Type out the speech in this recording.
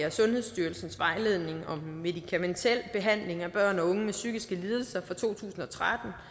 af sundhedsstyrelsens vejledning om medikamentel behandling af børn og unge med psykiske lidelser fra to tusind og tretten